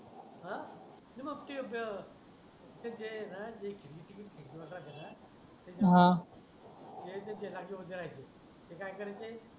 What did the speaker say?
आह आणि मग ते ते मग आहे ना ते ते आहे ना ते राखी वर जायचे ते काय करायचे